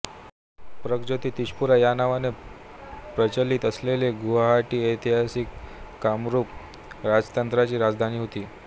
प्रगज्योतिषपुरा ह्या नावाने प्रचलित असलेले गुवाहाटी ऐतिहासिक कामरुप राजतंत्राची राजधानी होती